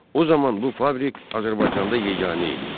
O zaman bu fabrik Azərbaycanda yeganə idi.